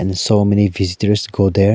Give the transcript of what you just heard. and so many visitors go there.